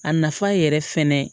A nafa yɛrɛ fɛnɛ